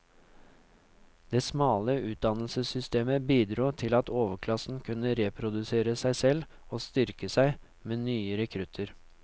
Det smale utdannelsessystemet bidro til at overklassen kunne reprodusere seg selv og styrke seg med nye rekrutter.